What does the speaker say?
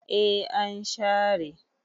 eh an share